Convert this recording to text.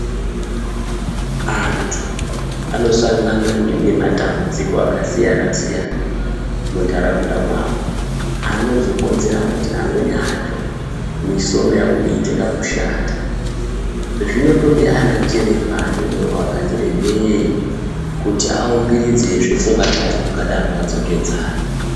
Antu anosangana nematambudziko akasiyana-siyana mundaraunda mwavo, anozokonzera kuti amweni acho misoro yavo iyite kakushata, zvinotode anachiremba anemoyo wakati rebeyi kuti awumbiridzezve pfungwa dzevantu vakadaro vadzokedzane.